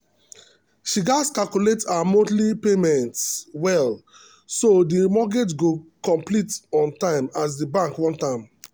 she gatz calculate her monthly payments well so that the mortgage go complete on time as the bank want am.